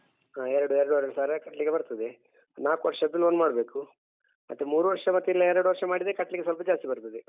ಹ ಎರಡು ಎರಡೂವರೆ ಸಾವಿರ ಕಟ್ಲಿಕ್ಕೆ ಬರ್ತದೆ ನಾಕು ವರ್ಷದ್ದು loan ಮಾಡ್ಬೇಕು ಮತ್ತೆ ಮೂರು ವರ್ಷಕ್ಕ ಇಲ್ಲ ಎರಡು ವರ್ಷ ಮಾಡಿದ್ರೆ ಕಟ್ಲಿಕ್ಕೆ ಸ್ವಲ್ಪ ಜಾಸ್ತಿ ಬರ್ತದೆ.